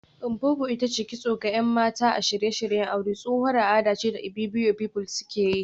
Mpopo ita ce kitso ga ‘yan mata a shirye-shiryen aure, tsohuwar al’ada ce da Ibibio pepple ke yi